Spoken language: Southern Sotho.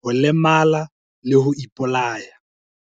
ho lemala le ho ipolaya.